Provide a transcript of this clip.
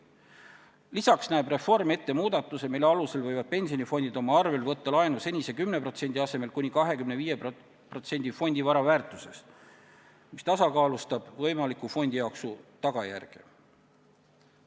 Lisaks näeb reform ette muudatuse, mille alusel võivad pensionifondid võtta laenu senise 10% asemel kuni 25% ulatuses fondi vara väärtusest, mis tasakaalustab võimaliku fondijooksu tagajärge.